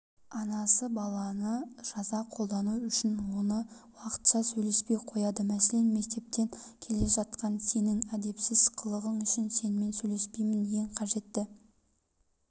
анасы баланы жаза қолдану үшін онымен уақытша сөйлеспей қояды мәселен мектептен келе жатқанда сенің әдепсіз қылығың үшін сенімен сөйлеспеймін ең қажетті